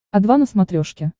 о два на смотрешке